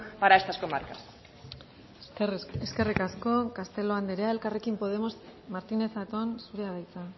para estas comarcas eskerrik asko castelo andrea elkarrekin podemos martínez zatón zurea da hitza